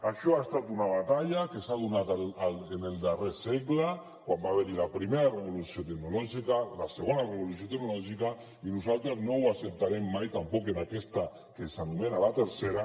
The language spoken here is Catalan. això ha estat una batalla que s’ha donat en el darrer segle quan va haver hi la primera revolució tecnològica la segona revolució tecnològica i nosaltres no ho acceptarem mai tampoc en aquesta que s’anomena la tercera